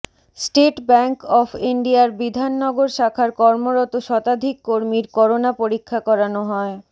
state Bank of ইন্ডিয়ার বিধাননগর শাখার কর্মরত শতাধিক কর্মীর করোনা পরীক্ষা করানো হয়